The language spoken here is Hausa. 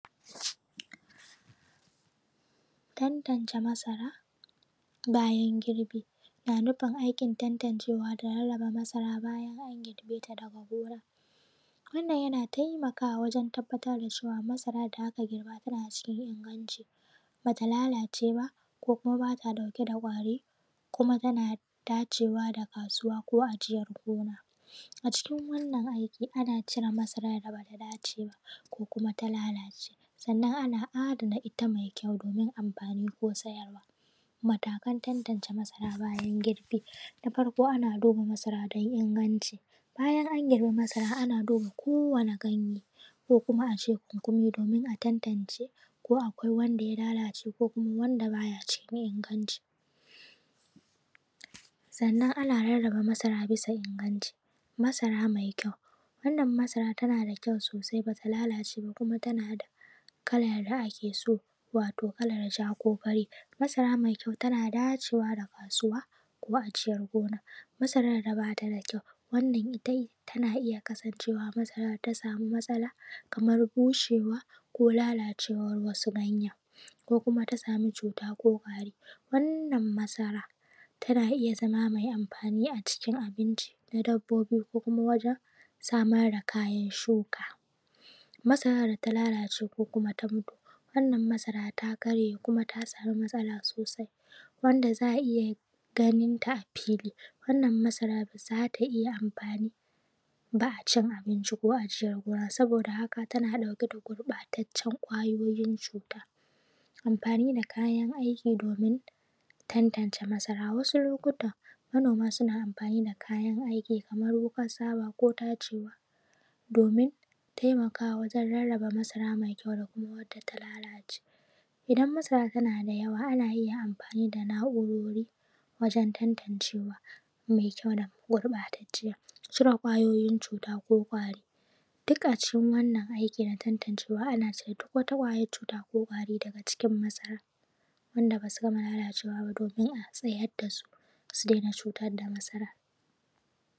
Tantance masara lokacin da ake girbinta, wannan yana nufin rarraba masara lokacin girbi a cikin gona, wannan yana taimakawa waje tabbatar da cewa masara da ake girbinta tana cikin inganci. Ana raba wadda ta lalace ko wanda kwari suka taba, da wacce bata lalace ba, domin a ware wadda za a yi amfani da ita a lokacin da kuma wadda za a ajiyeta a gona da ko kuma wadda za a kaita kasuwa domin siyarwa. Matakan da ake bi domin tantacen masara, duba masara don ingancinta. Da farko lokacin girbi ana duba kowani ganye na masaran domin a tabbatar ko akwai Wanda ya lalace ko wanda baya cikin inganci da, ana duba masara domin ko ganin tana da kyau ko kuma tana dauke da kwari ko cututuka. Rarraba masara bisa inganci: masara mai kyau: wannan masara ita ce wadda bata lalace ba kuma tana da kala mai kyau, kuma tana da kalar da ake so wato (fari ko ja)masara mai kyau tana dacewa da kasuwa ko kuma ajiyar gona. Masara da bata da kyau, wannan tana iya kasancewa masara wadda ta samu matsala, kamar bushewa ko lalacewar ganye, ko kuma ta samu cuta ko kwari. Wannan masara za ta iya zama mai amfani wajen abinci, kona dabbobi ko kuma wajen samar da kayan shuka. Masarar data lalace ko ta mutu, wannan masara ta karye kuma ta samu matsala sosai, wannan za a iya ganinta a fili, wannan masara ba za a iya amfani da ita ba wajen abinci ko ajiyar gona saboda tana dauke da gurbatacen kwayoyin cuta. Ana iya amfani da kayan aiki domin ware wannan masara, kamar su hannu, ko kuma wasu na’urorin idan masara tana da yawa, ana iya cire kwayoyin cuta domin kar a hadasu da wanda suke da kyau su gurbatasu.